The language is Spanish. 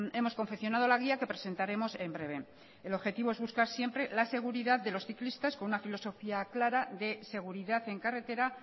hemos confeccionado la guía que presentaremos en breve el objetivo es buscar siempre la seguridad de los ciclistas con una filosofía clara de seguridad en carretera